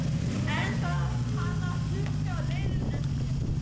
En þarf hann að styrkja liðið enn frekar?